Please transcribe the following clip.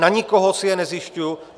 Na nikoho si je nezjišťuji.